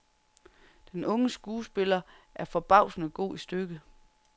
Den unge skuespiller er forbavsende god i stykket.